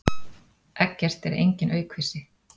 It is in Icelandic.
Eggert er enginn aukvisi.